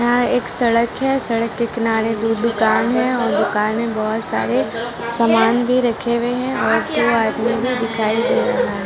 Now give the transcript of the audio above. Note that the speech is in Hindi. यहाँ एक सड़क है सड़क के किनारे दो दुकान है और दुकान में बहुत सारे समान भी रखे हुए है और दो आदमी भी दिखाई दे रहा है।